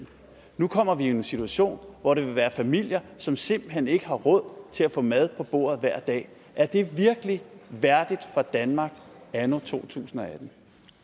nu kommer vi jo i en situation hvor der vil være familier som simpelt hen ikke har råd til at få mad på bordet hver dag er det virkelig værdigt for danmark anno 2018